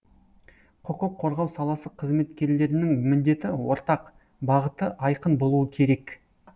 құқық қорғау саласы қызметкерлерінің міндеті ортақ бағыты айқын болуы керек